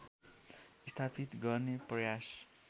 स्थापित गर्ने प्रयास